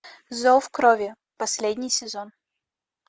зов крови последний сезон